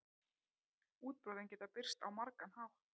Útbrotin geta birst á margan hátt.